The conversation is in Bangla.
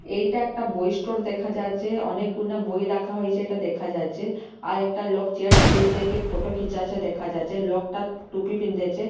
এইটা একটা বই স্টোর দেখা যাচ্চে অনেক গুনা বই রাখা হইছে এইটা দেখা যাচ্চে আর একটা লোক চেয়ার -তে বইসেকে ফোটো খিচাছে দেখা যাচ্চে লোকটা টুপি পিন্দেছে।